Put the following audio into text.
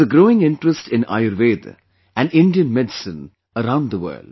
There is a growing interest in Ayurveda and Indian medicine around the world